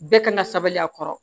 Bɛɛ kan ka sabali a kɔrɔ